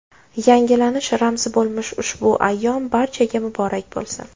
Yangilanish ramzi bo‘lmish ushbu ayyom barchaga muborak bo‘lsin.